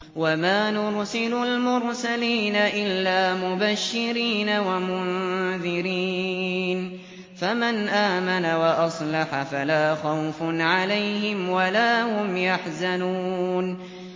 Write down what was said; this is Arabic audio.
وَمَا نُرْسِلُ الْمُرْسَلِينَ إِلَّا مُبَشِّرِينَ وَمُنذِرِينَ ۖ فَمَنْ آمَنَ وَأَصْلَحَ فَلَا خَوْفٌ عَلَيْهِمْ وَلَا هُمْ يَحْزَنُونَ